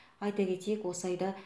айта кетейік осы айда